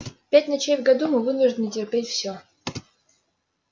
пять ночей в году мы вынуждены терпеть все